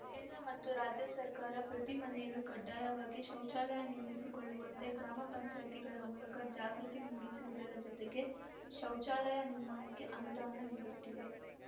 ಕೇಂದ್ರ ಮತ್ತು ರಾಜ್ಯ ಸರ್ಕಾರ ಪ್ರತಿ ಮನೆಯಲ್ಲೂ ಕಡ್ಡಾಯವಾಗಿ ಶೌಚಾಲಯ ನಿರ್ಮಿಸಿಕೊಳ್ಳುವಂತೆ ಗ್ರಾಮ ಪಂಚಾಯಿತಿಗಳ ಮೂಲಕ ಜಾಗೃತಿ ಮೂಡಿಸುವುದರ ಜತೆಗೆ ಶೌಚಾಲಯ ನಿರ್ಮಾಣಕ್ಕೆ ಅನುದಾನ ನೀಡುತ್ತಿದೆ